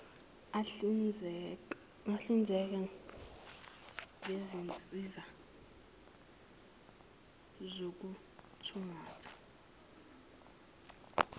ahlinzeka ngezinsiza zokuthungatha